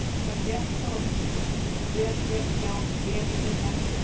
Þetta er svo VEL GERT hjá Elínu Mettu!